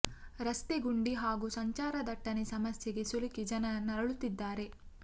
ರಸ್ತೆ ಗುಂಡಿ ಹಾಗೂ ಸಂಚಾರ ದಟ್ಟಣೆ ಸಮಸ್ಯೆಗೆ ಸಿಲುಕಿ ಜನ ನರಳುತ್ತಿದ್ದಾರೆ